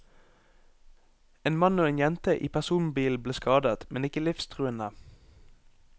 En mann og en jente i personbilen ble skadet, men ikke livstruende.